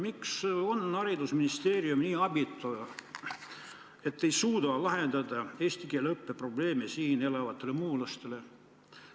Miks on haridusministeerium nii abitu, et ei suuda lahendada siin elavate muulaste eesti keele õppe probleeme?